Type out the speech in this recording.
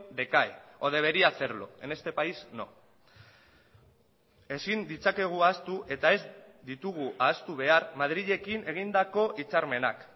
decae o debería hacerlo en este país no ezin ditzakegu ahaztu eta ez ditugu ahaztu behar madrilekin egindako hitzarmenak